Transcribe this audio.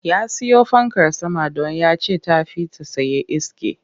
Ya siyo fankar sama don ya ce ta fi ta tsaye iske